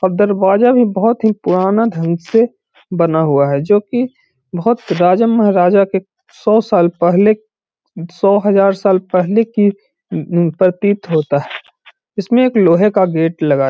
और दरवाजा भी बहोत ही पुराना ढंग से बना हुआ है जो की बहोत राजा महाराजा के सौ साल पहले सौ हजार साल पहले का प्रतीत होता है। इसमें एक लोहे का गेट लगा है।